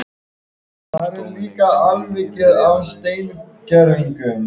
Það væri leiðinlegt að geta ekki greint alla þessa fallegu liti.